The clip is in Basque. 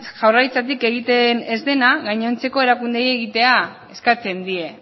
jaurlaritzatik egiten ez dena gainontzeko erakundeei egitea eskatzen die